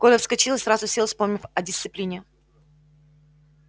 коля вскочил и сразу сел вспомнив о дисциплине